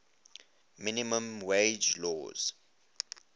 minimum wage laws